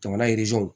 Jamana ye